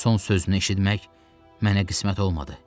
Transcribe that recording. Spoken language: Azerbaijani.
Son sözünü eşitmək mənə qismət olmadı.